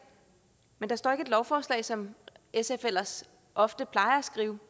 men der står ikke et lovforslag som sf ellers ofte plejer at skrive